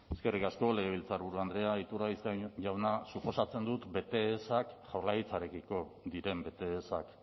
eskerrik asko legebiltzarburu andrea iturgaiz jauna suposatzen dut bete ezak jaurlaritzarekiko diren bete ezak